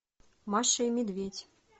маша и медведь